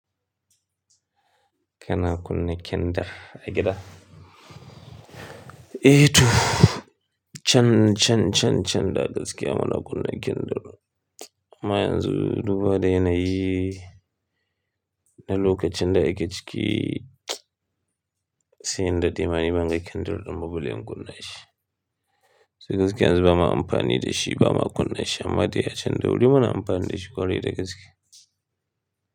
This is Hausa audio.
Kana kunna kinda, a gida? Eh to, can, can, can, can da gaskiya muna kunna kindar. Amma yanzu duba da na yi, na lokacin da ake ciki, sai inda dai mani ban ga kinder, din ba balle in kunna shi. So gaskiya yanzu ba ma amfani da shi, ba ma kunna shi, amma dai a can da wuri muna amfani da shi ƙwari da gaskiya.